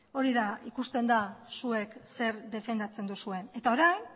ikusten da zuek zer defendatzen duzuen eta orain